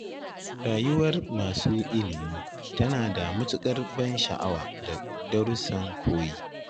Rayuwar masu ilimi tana da matukar ban sha'awa da darussan koyi